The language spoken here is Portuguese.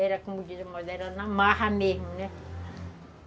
Era como dizem, era na marra mesmo, né?